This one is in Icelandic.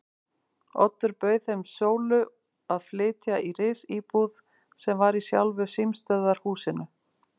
Oddur bauð þeim Sólu að flytja í risíbúð sem var í sjálfu símstöðvarhúsinu.